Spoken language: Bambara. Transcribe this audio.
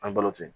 An ye balo ten